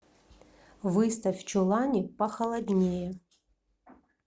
выставь в чулане похолоднее